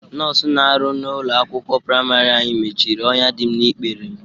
Nọs na-arụ n'ụlọ akwụkwọ prịmarị anyị mechiri ọnya dị m n'ikpere.